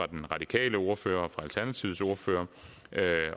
den radikale ordfører alternativets ordfører